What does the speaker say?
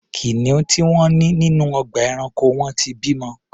Kìnìún tí wọ́n ní nínú ọgbà ẹranko wọn ti bimọ.